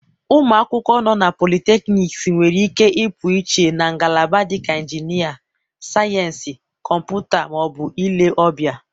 ụmụ akwụkwọ nọ na polytechnics nwere ike ịpụiche na ngalaba dịka injinia, sayensị kọmputa, ma ọ bụ ile ọbịa.